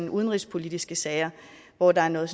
udenrigspolitiske sager hvor der er noget